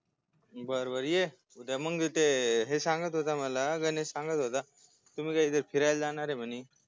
बर बर ये उद्या म्हणजे ते हे सागंत होता गणेश सांगत होता मला गणेश सांगत होता तुम्ही काय ते फिरायला जाणारय म्हणे